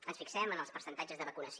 ens fixem en els percentatges de vacunació